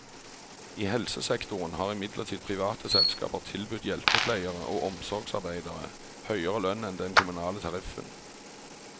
I helsesektoren har imidlertid private selskaper tilbudt hjelpepleiere og omsorgarbeidere høyere lønn enn den kommunale tariffen.